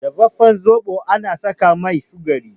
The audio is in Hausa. Dafafen zobo ana saka mai sukari